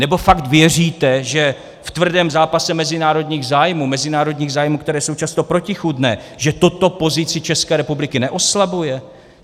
Nebo fakt věříte, že v tvrdém zápase mezinárodních zájmů, mezinárodních zájmů, které jsou často protichůdné, že toto pozici České republiky neoslabuje?